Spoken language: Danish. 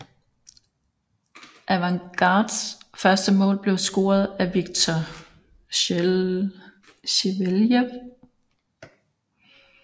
Avangards første mål blev scoret af Viktor Sjeveljev